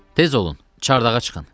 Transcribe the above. Tez olun, çardağa çıxın.